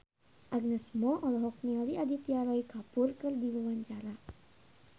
Agnes Mo olohok ningali Aditya Roy Kapoor keur diwawancara